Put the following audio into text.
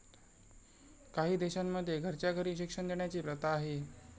काही देशांमध्ये घरच्या घरी शिक्षण देण्याची प्रथा आहे.